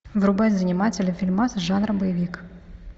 врубай занимательный фильмас жанра боевик